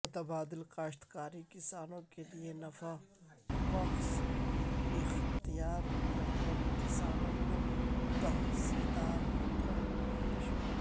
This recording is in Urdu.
متبادل کاشتکاری کسانوں کیلئے نفع بخص اختیار کرنے کسانوں کو تحصیلدار کا مشورہ